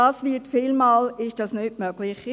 Das ist oftmals nicht möglich.